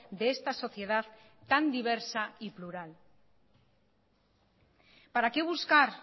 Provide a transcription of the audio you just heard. de esta sociedad tan diversa y plural para qué buscar